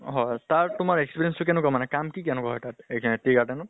হয় তাৰ তো, আৰ experience টো কেনেকুৱা মানে? কাম কি কেনেকুৱা হয় তাত এই যে tea garden ত ?